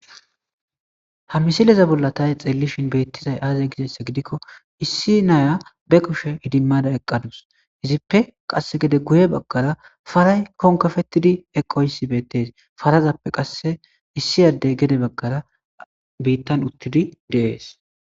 Ha misilezan bolla ta hay xeellishin beettizayi aaze gidayssa gidikko issi na7iya ba kushe idimmada eqqadus. Izippe qassi gede guye baggara paray konkkafettidi eqqoyssi beettees.parazappe qasse issi addey gedebaggara biittan uttidi de7ees.